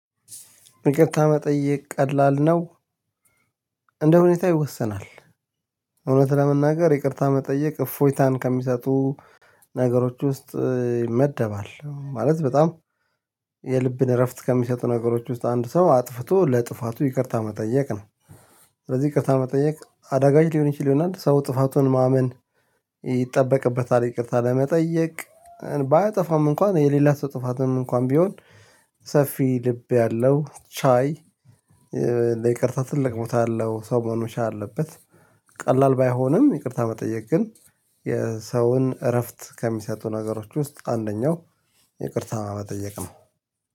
ይቅርታ መጠየቅ ቀላል ነው እንደሁኔታ ይወሰናል። እውነት ለመናገር ይቅርታ መጠየቅ እፎይታን ከሚሰጡ ነገሮች ውስጥ ይመደባል ማለት በጣም የልብን እረፍት ከሚሰጡ ነገሮች ውስጥ አንድ ሰው አጥፍቶ ለጥፋቱ ይቅርታ መጠየቅ ነው። ስለዚህ ይቅርታ መጠየቅ አዳጋች ሊሆን ይችል ይሆናል ሰው ጥፋቱን ማመን ይጠበቅበታል ይቅርታ ለመጠየቅ ባያጠፋም እንኳን የሌላት ጥፋትም እንኳን ቢሆን ሰፊ ልብ ያለው ቻይ ለይቅርታ ትልቅ ቦታ አለው ሰው መሆኑን መቻል አለበት። ቀላል ባይሆንም ይቅርታ መጠየቅ ግን የሰውን እረፍት ከሚሰጡ ነገሮች ውስጥ አንደኛው ይቅርታ መጠየቅ ነው